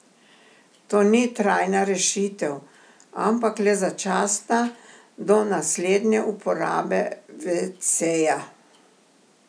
To ni trajna rešitev, ampak le začasna, do naslednje uporabe veceja.